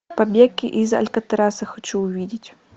побег из алькатраса хочу увидеть